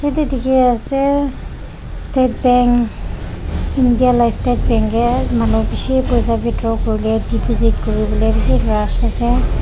jatte dekhi ase state bank India laga state bank ke manu bisi goi thaki paisa ke withdrawal deposit kori bole bisi ase.